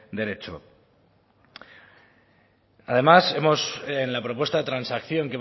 derecho además en la propuesta de transacción